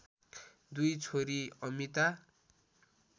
दुई छोरी अमिता